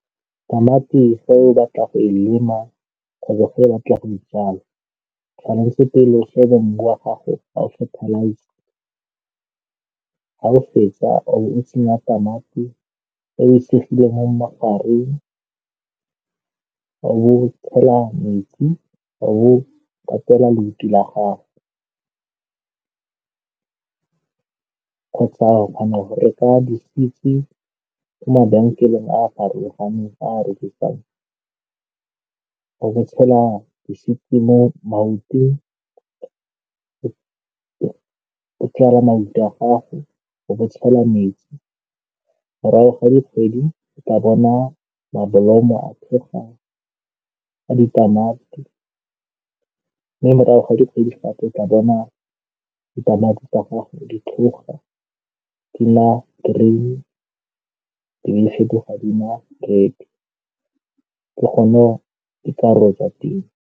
Tamati fa o batla go e lema kgotsa fa o batla go e jala, tshwanetse pele o šebe mmu wa gago, ga o fetsa, o be o tsenya tamati e e segileng mo magareng, o bo tshela metsi, o bo katela la gago. Kgotsa go reka di-seeds-i ko mabenkeleng a a farologaneng, a a rekisang, o bo tshela di-seed mo , o bo tshela metsi. Morago ga dikgwedi, o tla bona mabolomo a a ditamati, mme morago ga dikgwedi gape o tla bona ditamati tsa gago di tlhoga di nna green, di be di fetoga di nna red, ke gone e tla teng.